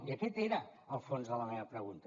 i aquest era el fons de la meva pregunta